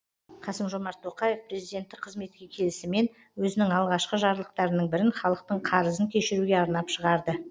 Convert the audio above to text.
қасым жомарт тоқаев президенттік қызметке келісімен өзінің алғашқы жарлықтарының бірін халықтың қарызын кешіруге арнап шығарды